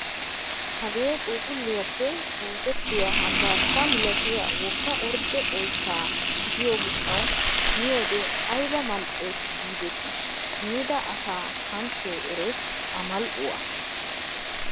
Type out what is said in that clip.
Hagee puuphphulliyaappe oosettiyaa hambbashsha milatiyaa wogga ordde oyttaa gidiyoo gishshawu miyoode ayba mal"ees gidetii miida asa kanchchee erees a mal"uwaa!